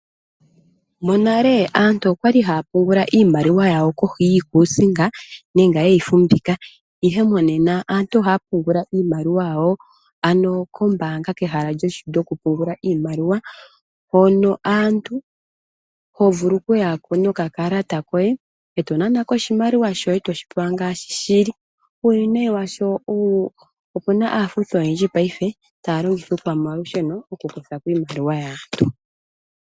Monale aantu okwali haya pungula iimaliwa yawo kohi yiikusinga nenge yeyi fumvikwa, ashike momena aantu ohaya pungula iimaliwa yawo ano kombaanga kehala lyoku pungula iimaliwa, hono hovulu okuyako nokakalata koye eto nanako oshimaliwa shoye toshipewa ngaashi shili. Uuwinayi washo opena aafuthi oyendji payife taya longitha iikwamalusheno oku kuthako iimaliwa yaantu.